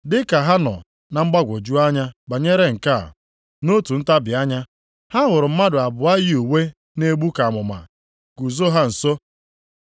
Dị ka ha nọ na mgbagwoju anya banyere nke a, nʼotu ntabi anya, ha hụrụ mmadụ abụọ yi uwe na-egbu ka amụma guzo ha nso.